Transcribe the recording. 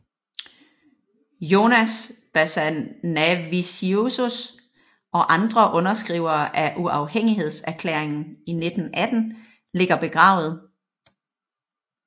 Jonas Basanavičius og andre underskrivere af uafhængighedserklæringen i 1918 ligger begravet